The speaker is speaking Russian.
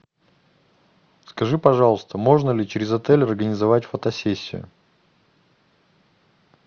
скажи пожалуйста можно ли через отель организовать фотосессию